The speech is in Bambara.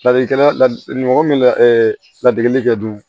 Ladilikan ladi mɔgɔ min ladegeli kɛ don